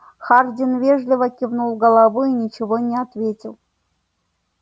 хардин вежливо кивнул головой и ничего не ответил